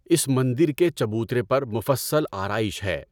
اس مندر کے چبوترے پر مفصل آرائش ہے۔